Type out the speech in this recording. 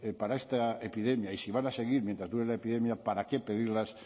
para esta epidemia y si van a seguir mientras dure la epidemia para qué pedirlas